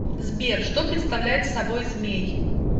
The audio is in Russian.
сбер что представляет собой змей